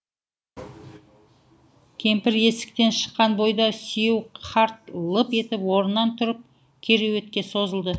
кемпір есіктен шыққан бойда сүйеу қарт лып етіп орнынан тұрып кереуетке созылды